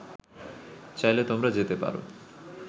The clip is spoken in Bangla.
চাইলে তোমরা যেতে পার